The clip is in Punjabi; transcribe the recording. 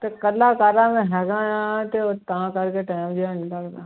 ਤੇ ਇਕੱਲਾ ਮੈਂ ਹੈਗਾ ਹਾਂ ਤੇ ਉਹ ਤਾਂ ਕਰਕੇ time ਜਿਹਾ ਨੀ ਲੱਗਦਾ।